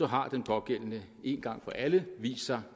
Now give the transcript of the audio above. har den pågældende en gang for alle vist sig